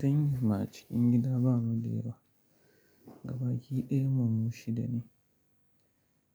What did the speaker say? Danginmu a cikin gida bamu da yawa, gabaki ɗayanmu mu shida ne.